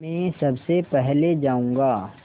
मैं सबसे पहले जाऊँगा